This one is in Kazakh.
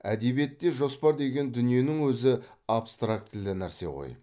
әдебиетте жоспар деген дүниенің өзі абстрактілі нәрсе ғой